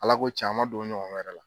Ala ko can an man don o ɲɔgɔn wɛrɛ la.